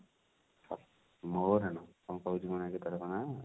ମୋ ରାଣ କଣ କହୁଛି କି ମୋ ନା ରେ କେତେବେଳେ କଣ?